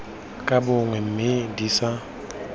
ka bongwe mme di sa